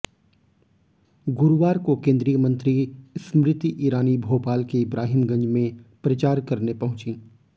गुरुवार को केंद्रीय मंत्री स्मृति ईरानी भोपाल के इब्राहिम गंज में प्रचार करने पहुंचीं